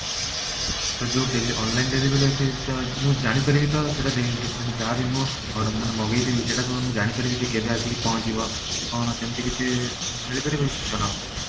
ତ ଯଉ ଡେ online delivery ହଉଛି ତ ମୁଁ ଜାଣି ପାରିବି ତ ସେଟା ମାନେ ଯାହା ବି ମୋ ଅ ମାନେ ମଗେଇଥିବି ସେଟା କଣ ମୁଁ ଜାଣିପାରିବି ଯେ କେବେ ଆସିକି ପହଞ୍ଚିବ କଣ ସେମତି କିଛି ମିଳିପାରିବ କି ସୂଚନା ଏବେ?